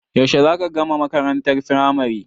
Yaushe za ka gama makarantar firamari?